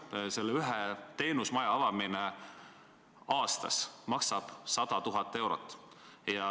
Ühe sellise teenusmaja avamine maksab aastas 100 000 eurot.